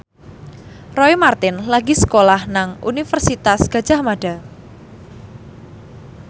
Roy Marten lagi sekolah nang Universitas Gadjah Mada